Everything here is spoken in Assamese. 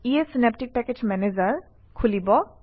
ইয়ে চিনাপ্টিক পেকেজ মেনেজাৰ অপেন কৰিব